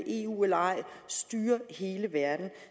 eu eller ej styre hele verden